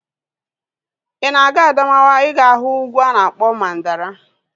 Ị na-aga Adamawa ị ga-ahụ ugwu a na-akpọ Mandara